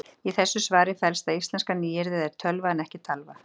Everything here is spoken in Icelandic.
í þessu svari felst að íslenska nýyrðið er tölva en ekki talva